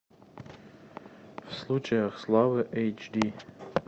в случаях славы эйч ди